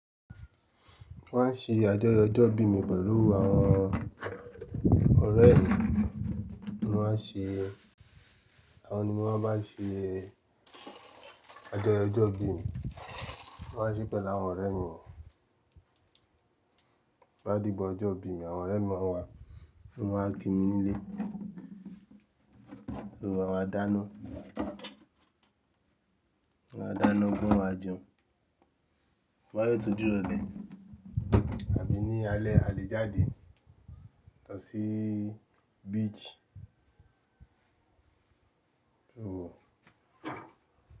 Wọ́n á ṣe ajoyọ ọjọ́ ìbí mi pẹ̀lú àwọn ọ̀rẹ́ mi ni wọ́n á ṣe, àwọn ni mo máa ń bá ṣe ajoyọ ojo ìbí mi. Wọ́n á ṣí pẹ̀lú àwọn ọ̀rẹ́ mi. Bá di igba ọjọ́ ìbí mi àwọn ọ̀rẹ́ mi máa wá, wọ́n máa kí mi nílé, so a máa dáná, wọ́n á dáná gbọ́gbo won máa jẹun. To ba detun dirole, àbí ní alẹ́ a lè jáde lọ sí beach. Kí lo wò?